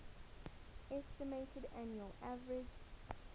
estimated annual average